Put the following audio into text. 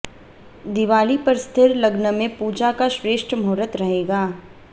दिवाली पर स्थिर लग्न में पूजा का श्रेष्ठ मुहूर्त रहेगा